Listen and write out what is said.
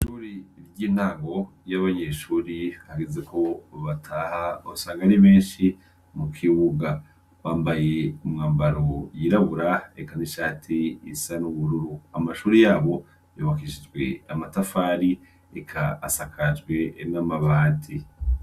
Ihuri iry'intago y'abanyeshuri kageze ko bataha asangara imenshi mu kiwuga wambaye umwambaro yirabura ekanishati isa n'ubururu amashuri yabo yobakishijwe amatafari ika asakajwe emwe amabati.